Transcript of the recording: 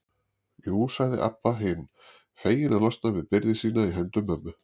Jú, sagði Abba hin, fegin að losna við byrði sína í hendur mömmu.